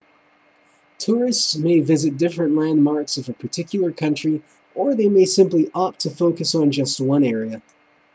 tourists may visit different landmarks of a particular country or they may simply opt to focus on just one area